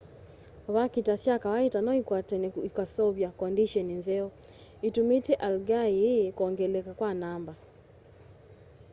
vakita sya kawaita noikwatanw'e ikaseuvya kondisheni nzeo itumite algae ii kwongeleka kwa namba